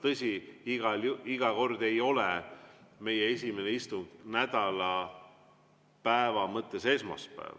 Tõsi, iga kord ei ole meie esimene istung nädalapäeva mõttes esmaspäeval.